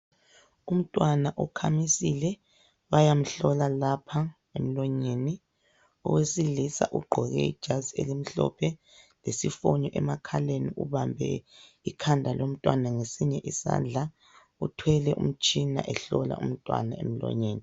Umntwana ukhamisile bayamhlola lapha emlonyeni, owesilisa ugqoke ijazi elimhlophe lesifonyo emakhaleni ubambe ikhanda lomntwana ngesinye isandla. Uthwele umtshina ehlola umntwana emlonyeni.